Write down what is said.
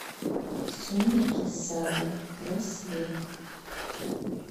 сумерки сага рассвет